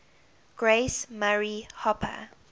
grace murray hopper